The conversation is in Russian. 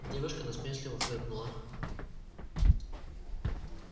девушка насмешливо фыркнула